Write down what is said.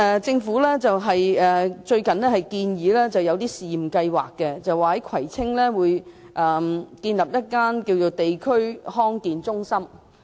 政府最近建議推出試驗計劃，在葵青區建立一間地區康健中心。